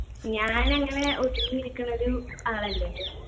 ഞാനങ്ങനെ ഒതുങ്ങി ഇരിക്കണൊരു ആളല്ലല്ലോ